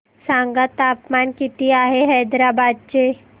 सांगा तापमान किती आहे हैदराबाद चे